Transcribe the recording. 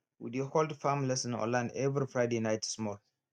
we dey hold farm lesson online every friday night small